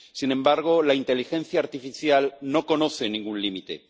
sin embargo, la inteligencia artificial no conoce ningún límite.